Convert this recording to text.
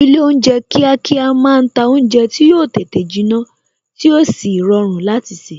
Ilé oúnjẹ kíákíá máa ń ta oúnjẹ tí yo tètè jinna tí ó sì rọrùn láti se